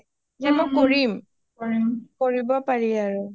যেন মই কৰিম কৰিব পাৰি আৰু